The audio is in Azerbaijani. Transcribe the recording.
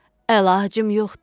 Əlacım yoxdur.